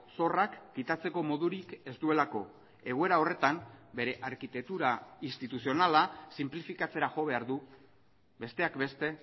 zorrak kitatzeko modurik ez duelako egoera horretan bere arkitektura instituzionala sinplifikatzera jo behar du besteak beste